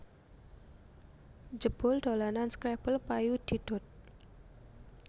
Jebul dolanan scrabble payu didol